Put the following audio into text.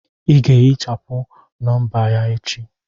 Ị ga-ehichapụ nọmba ya echi!